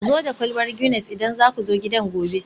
zo da kwalbar Guinness idan za ku zo gidan gobe